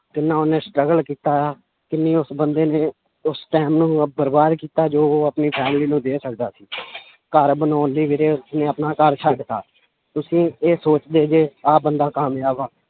ਕਿੰਨਾ ਉਹਨੇ struggle ਕੀਤਾ ਆ ਕਿੰਨੀ ਉਸ ਬੰਦੇ ਨੇ ਉਸ time ਨੂੰ ਬਰਬਾਦ ਕੀਤਾ ਜੋ ਉਹ ਆਪਣੀ family ਨੂੰ ਦੇ ਸਕਦਾ ਸੀ ਘਰ ਬਣਾਉਣ ਲਈ ਵੀਰੇ ਉਨਹੇਂ ਆਪਣਾ ਘਰ ਛੱਡ ਦਿੱਤਾ ਤੁਸੀਂ ਇਹ ਸੋਚਦੇ ਜੇ ਆਹ ਬੰਦਾ ਕਾਮਯਾਬ ਆ